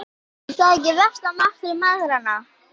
Er það ekki versta martröð mæðra?